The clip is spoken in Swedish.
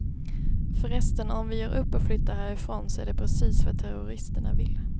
Förresten, om vi ger upp och flyttar härifrån så är det precis vad terroristerna vill.